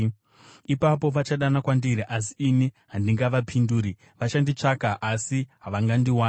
“Ipapo vachadana kwandiri asi ini handingavapinduri; vachanditsvaka asi havangandiwani.